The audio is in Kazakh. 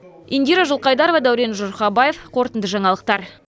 индира жылқайдарова дәурен жұрхабаев қорытынды жаңалықтар